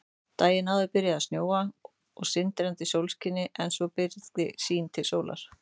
Daginn áður byrjaði að snjóa í sindrandi sólskini en svo byrgði sýn til sólar.